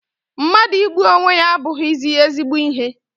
mmadụ igbu onwe ya abụghị ezigbo ihe.